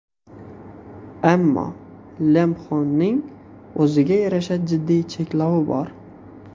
Ammo Lamphone’ning o‘ziga yarasha jiddiy cheklovi bor.